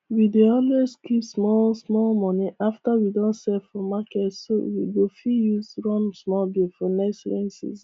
we dey always keep small small money after we don sell for market so we go fit use run some bills for next rain season